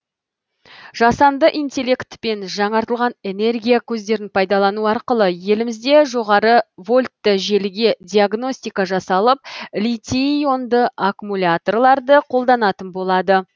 жасанды интеллект пен жаңартылған энергия көздерін пайдалану арқылы елімізде жоғары вольтты желіге диагностика жасалып литий ионды аккумуляторларды қолданатын болады